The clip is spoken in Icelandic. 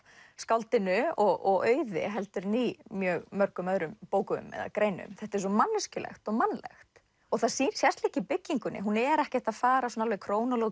skáldinu og Auði heldur en í mjög mörgum öðrum bókum eða greinum þetta er svo manneskjulegt og mannlegt og það sést líka í byggingunni hún er ekkert að fara alveg